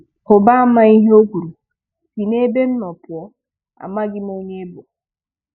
Hụba ama ihe o kwuru, "si n'ebe m nọ pụọ, amaghị m onye ị bụ."